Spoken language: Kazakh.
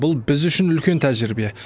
бұл біз үшін үлкен тәжірибе